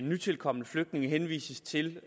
nytilkomne flygtninge henvises til